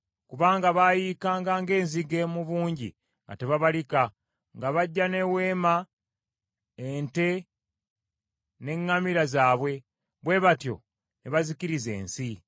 Kubanga baayiikanga ng’enzige mu bungi nga tebabalika. Nga bajja n’eweema, ente, n’eŋŋamira zaabwe. Bwe batyo ne bazikiriza ensi.